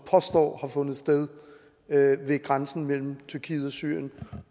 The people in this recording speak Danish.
påstår har fundet sted ved grænsen mellem tyrkiet og syrien